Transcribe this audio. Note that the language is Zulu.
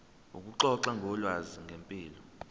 ukuxoxa ngolwazi ngempilo